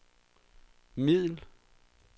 middel